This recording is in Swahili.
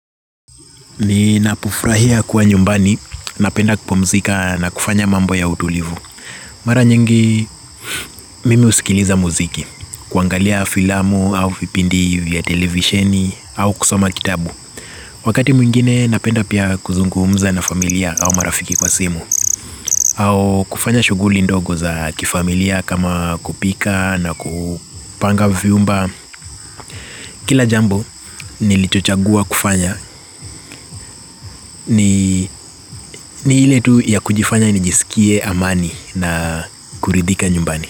Ninapo furahia kuwa nyumbani, napenda kupumzika na kufanya mambo ya utulivu. Mara nyingi, mimi husikiliza muziki, kuangalia filamu au vipindi vya televisheni au kusoma kitabu. Wakati mwingine, napenda pia kuzungumza na familia au marafiki kwa simu. Au kufanya shughuli ndogo za kifamilia kama kupika na kupanga vyumba. Kila jambo nilichochagua kufanya ni ile tu ya kujifanya nijisikie amani na kuridhika nyumbani.